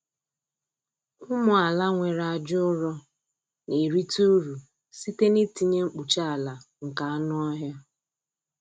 Ụmụ ala nwere aja ụrọ na-erite uru site n’itinye mkpuchi ala nke anụ ọhịa.